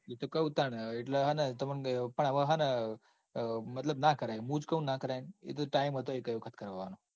એતો કૌ તાન એટલે હન તમોન પણ હવે ના કરાય હુંજ કાવ ન ના કરાય. એતો time હતો એકેય વખત કરવાનો.